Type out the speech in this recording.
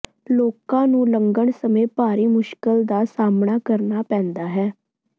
ਲੋਕਾਂ ਨੂੰ ਲੰਘਣ ਸਮੇਂ ਭਾਰੀ ਮੁਸ਼ਕਲ ਦਾ ਸਾਹਮਣਾ ਕਰਨਾ ਪੈਦਾ ਹੈ